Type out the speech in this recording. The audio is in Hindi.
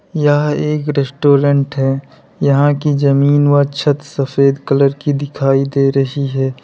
यह एक रेस्टोरेंट है यहां की जमीन व छत सफेद कलर की दिखाई दे रही है।